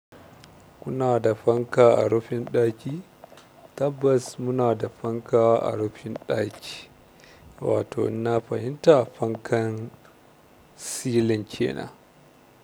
Kuna da fanka a rufin ɗaki? Tabbas muna da fanka a rufin ɗaki, wato in na fahimta fankan silin ke nan.